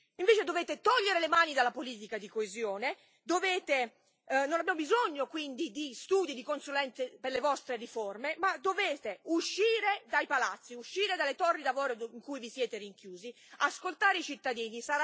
Invece, dovete togliere le mani dalla politica di coesione non abbiamo bisogno quindi di studi e di consulenze per le vostre riforme e dovete uscire dai palazzi, uscire dalle torri d'avorio in cui vi siete rinchiusi e ascoltare i cittadini.